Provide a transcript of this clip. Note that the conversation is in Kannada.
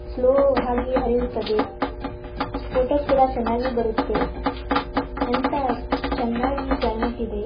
ಸ್ಲೋ ಹಾಗೆ ಹರಿಯುತ್ತದೆ. ಫೊಟೋಸ್ ಕೂಡ ಚೆನ್ನಾಗಿ ಬರುತ್ತೆ ಎಂತ ಚೆನ್ನಾಗಿ ಕ್ಲೈಮೆಟ್ ಇದೆ.